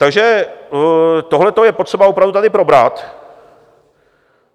Takže tohleto je potřeba opravdu tady probrat.